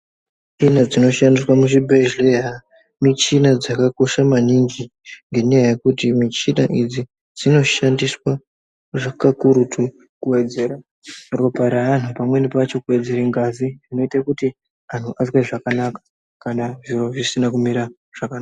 Michini dzinoshandiswa muzvibhedhleya michini dzakakosha maningi . Ngenyaya yekuti michini idzi dzinoshandiswa zve kakurutu kuwedzera ropa raantu pamweni pacho kuwedzere ngazi zvinoite kuti anzwe zvakanaka kana zviro zvisina kumira zvakanaka.